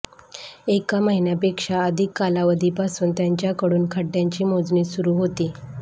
एक महिन्यापेक्षा अधिक कालावधीपासून त्यांच्याकडून खड्ड्यांची मोजणी सुरू होती